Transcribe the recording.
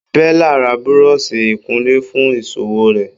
Bella ra buroṣi ikunle fún ìṣòwò rè.